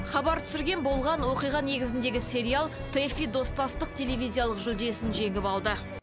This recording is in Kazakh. хабар түсірген болған оқиға негізіндегі сериал тэфи достастық телевизиялық жүлдесін жеңіп алды